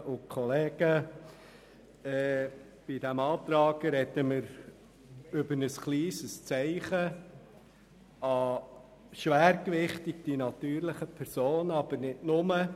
Bei diesem Antrag sprechen wir über ein kleines Zeichen vor allem gegenüber den natürlichen Personen, aber nicht nur.